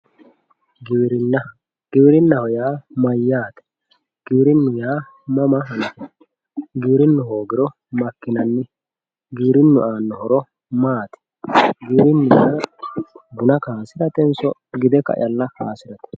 giwirinna. giwirinnaho yaa mayyaate giwirinnu yaa mama afamanno giwirinnu hoogiro makkinanni giwirinnu aanno horo maati giwirinnaho yaa buna kaasiratenso gide caalla kaasirate.